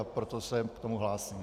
A proto se k tomu hlásím.